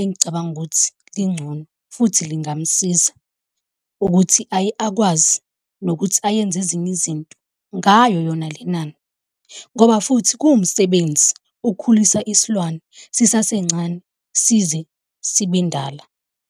engicabanga ukuthi lingcono. Futhi lingamsiza ukuthi aye akwazi nokuthi ayenze ezinye izinto ngayo yona le nani ngoba futhi kuwumsebenzi ukukhulisa isilwane sisasencane size sibe ndala.